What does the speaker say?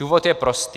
Důvod je prostý.